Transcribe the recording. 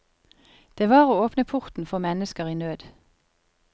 Det var å åpne porten for mennesker i nød.